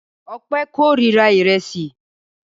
Ọpẹ́ kórira ìrẹsì.